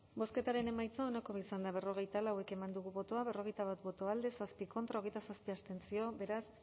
bozketaren emaitza onako izan da hirurogeita hamabost eman dugu bozka berrogeita bat boto alde zazpi contra hogeita zazpi abstentzio beraz